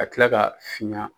Ka tila ka fiɲɛ